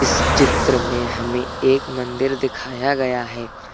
इस चित्र में हमें एक मंदिर दिखाया गया है।